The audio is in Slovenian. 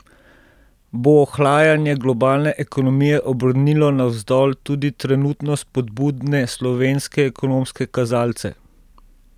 Bo ohlajanje globalne ekonomije obrnilo navzdol tudi trenutno spodbudne slovenske ekonomske kazalce?